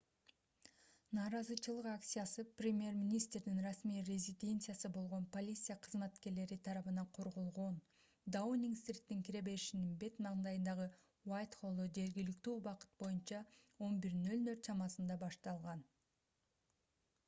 нааразычылык акциясы премьер-министрдин расмий резиденциясы болгон полиция кызматкерлери тарабынан корголгон даунинг-стриттин кире беришинин бет маңдайындагы уайтхоллдо жергиликтүү убакыт боюнча 11:00 чамасында utc + 1 башталган